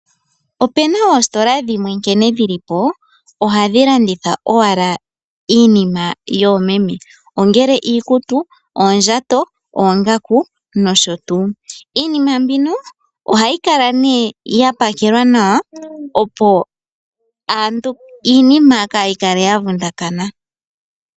Opu na oositola dhimwe nkene dhi li po ohadhi longitha owala iinima yoomeme ngaashi iikutu, oongaku, oondjato nosho tuu. Iinima mbika ohayi kala nduno ya pakelwa nawa, opo iinima kaayi kale ya vundakana.